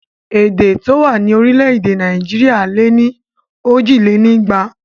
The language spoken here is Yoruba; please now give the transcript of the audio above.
Èdè tó wà ní orílẹ̀ èdè Nàìjíríà lé ní òjìlénígba